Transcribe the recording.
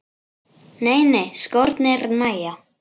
Nei nei, skórnir nægja.